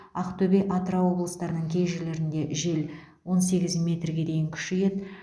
ақтөбе атырау облыстарының кей жерлерінде жел он сегіз метрге дейін күшейеді